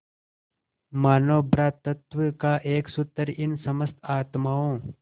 मानों भ्रातृत्व का एक सूत्र इन समस्त आत्माओं